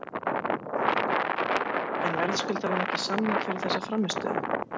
En verðskuldar hann ekki samning fyrir þessa frammistöðu?